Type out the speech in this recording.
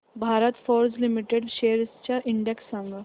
Bharat forge limited shares चा index सांगा